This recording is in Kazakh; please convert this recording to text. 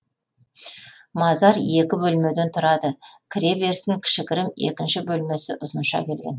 мазар екі бөлмеден тұрады кіре берісін кішігірім екінші бөлмесі ұзынша келген